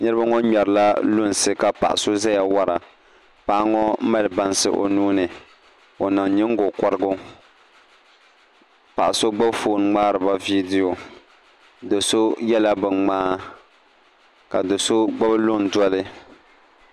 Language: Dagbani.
Niraba ŋo ŋmɛrila lunsi ka paɣa so ʒɛya wora paɣa ŋo mali bansi o nuuni o niŋ nyingokorigu paɣa so gbubi foon ŋmaariba viidiyo do so yɛla bin ŋmaa ka do so gbubi luŋ doli